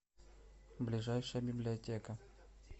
ближайшая библиотека